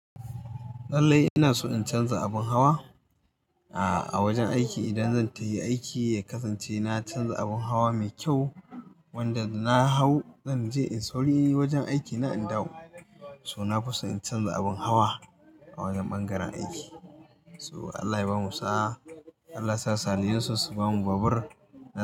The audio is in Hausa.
Lallai ina so in canza abin hawa, ah, a wajen aiki idan zan tahi aiki ya kasance na canza abin hawa mai kyau, wanda da na hau zan je in sauri wajen aikina in dawo. To na fuson in canza abin hawa, a wajen bangaren aiki. To, Allah ya bamu sa'a. Allah sa saliyunsu su bamu babur.